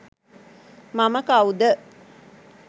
මම කවුද